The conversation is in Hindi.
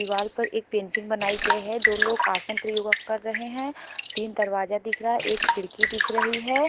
दीवार पर एक पेंटिंग बनाई गई है दो लोग आसन प्रयोग कर रहे हैं तीन दरवाजा दिख रहा है एक खिड़की दिख रही है।